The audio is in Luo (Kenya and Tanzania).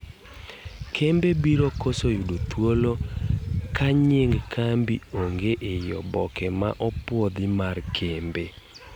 Kembe biro koso yudo thuolo ka nying' kambi ong'e ei oboke ma opuodhi mar kembe.